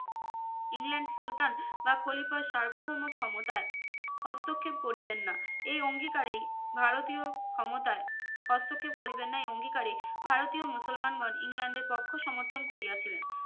England সুলতান বা খলিফার সার্বভৌম ক্ষমতায় হস্তক্ষেপ করিবেন না এই অঙ্গীকারেই ভারতীয় ক্ষমতায় হস্তক্ষেপ করিবেন না এই অঙ্গীকারে ভারতীয় মুসলমানগণ ইংল্যান্ডের পক্ষ সমর্থন করিয়াছিলেন